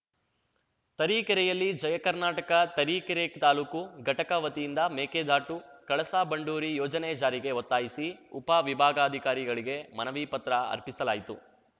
ತರೀಕೆರೆಯಲ್ಲಿ ಜಯ ಕರ್ನಾಟಕ ತರೀಕೆರೆ ತಾಲೂಕು ಘಟಕ ವತಿಯಿಂದ ಮೇಕೆದಾಟು ಕಳಸಾ ಬಂಡೂರಿ ಯೋಜನೆ ಜಾರಿಗೆ ಒತ್ತಾಯಿಸಿ ಉಪ ವಿಭಾಗಾಧಿಕಾರಿಗಳಿಗೆ ಮನವಿ ಪತ್ರ ಅರ್ಪಿಸಲಾಯಿತು